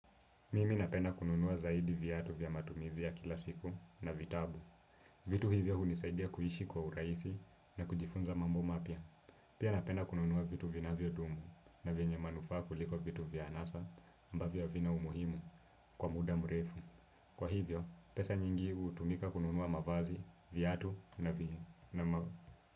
Mimi napenda kununua zaidi viatu vya matumizia ya kila siku na vitabu. Vitu hivyo hunisaidia kuishi kwa urahisi na kujifunza mambo mapya. Pia napenda kununua vitu vinavyodumu na vyenye manufaa kuliko vitu vya anasa ambavyo havina umuhimu kwa muda mrefu. Kwa hivyo, pesa nyingi hutumika kununua mavazi, viatu na vya.